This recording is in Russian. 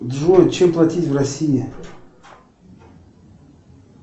джой чем платить в россии